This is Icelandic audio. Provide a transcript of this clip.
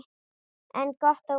En gott og vel.